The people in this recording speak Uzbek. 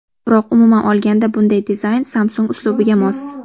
Biroq umuman olganda bunday dizayn Samsung uslubiga mos.